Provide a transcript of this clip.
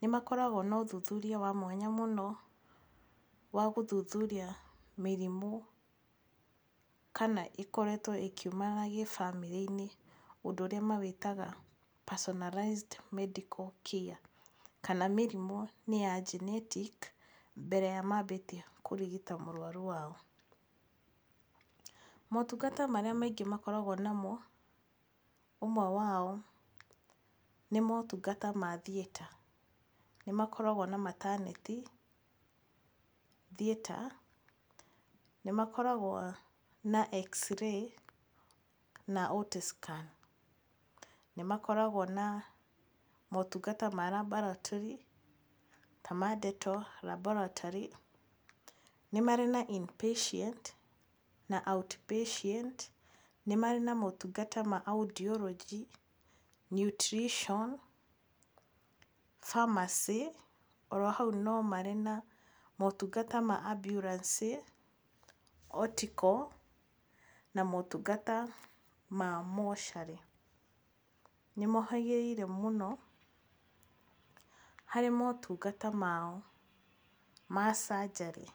Nĩ makoragwo na ũthuthuria wa mwanya mũno wa gũthuthuria mĩrimũ kana ĩkoretwo ĩkiumana gĩ bamĩrĩ-inĩ ũndũ ũrĩa mawĩtaga Personalized Medical Care. Kana mĩrimũ nĩ ya genetic mbere ya maambĩtie kũrigita mũrwaru wao. Motungata marĩa maingĩ makoragwo namo ũmwe wao nĩ motungata ma theater. Nĩ makoragwo na maternity, theater, nĩ makoragwo na X-ray na Ultra scan. Nĩ makoragwo na motungata ma labolatory ta ma deto laboratory, nĩ marĩ na in patient na out patient. Nĩ marĩ na motungata ma audiology, nutrition, pharmacy. Oro hau no marĩ na motungata ma ambulance auricle na motungata ma mortuary. Nimohagĩrĩire mũno harĩ motungata mao ma surgery.